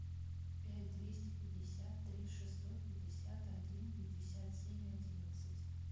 пять двести пятьдесят три шестьсот пятьдесят один пятьдесят семь одиннадцать